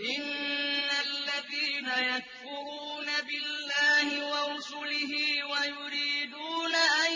إِنَّ الَّذِينَ يَكْفُرُونَ بِاللَّهِ وَرُسُلِهِ وَيُرِيدُونَ أَن